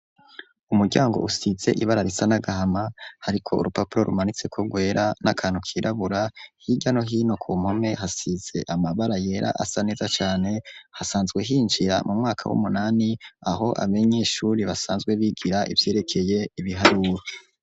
Umuryango usize ibara risa n'agahama hariko urupapuro rumanitseko rwera n'akantu kirabura, hirya no hino ku mpome hasize amabara yera asa neza cane, hasanzwe hinjira mu mwaka w'umunani aho abanyeshuri basanzwe bigira ivyerekeye ibiharuro.